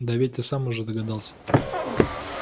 да ведь ты сам уже догадался